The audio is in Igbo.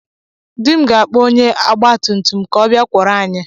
Dị m ga-akpọ onye ogbatumtum ka ọ bịa kwọrọ anyị.